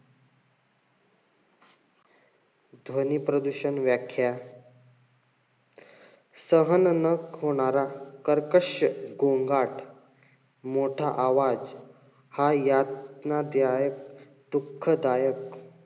ध्वनी प्रदूषण व्याख्या सहन न होणारा कर्कश्श गोंगाट, मोठा आवाज हा यातनादायक, दुःखदायक,